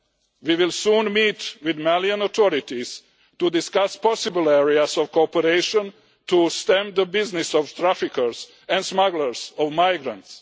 We will soon meet with Malian authorities to discuss possible areas of cooperation to stem the business of traffickers and smugglers of migrants.